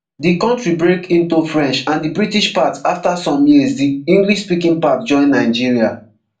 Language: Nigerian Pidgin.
di kontri break into french and di british parts afta some years di english speaking parts join nigeria